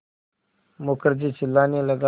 मुखर्जी चिल्लाने लगा